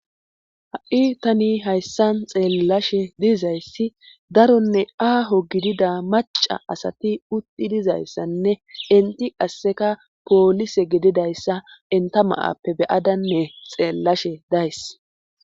Ha7i tani hayssan xeellashe dizayssi daronne aaho gidida maca asati utti dizayssanne inti qasseka poolise gedidayssa enta maappe beyadanne xeellashe days.